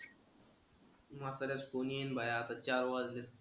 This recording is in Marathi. म्हाताऱ्याचा phone येईना भाया. आता चार वाजलेत.